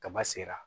Kaba sera